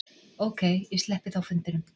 Ókei, ég sleppi þá fundinum.